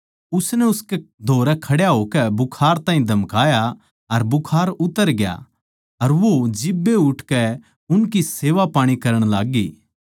उसनै उसकै धोरै खड़े होकै बुखार ताहीं धमकाया अर बुखार उतर गया अर वो जिब्बे उठकै उनकी सेवापाणी करण लाग्गी